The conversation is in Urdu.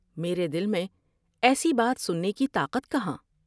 میرے دل میں ایسی بات سننے کی طاقت کہاں ۔